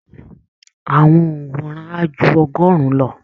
Àwọn òǹwòran á ju ọgọ́rùn-ún lọ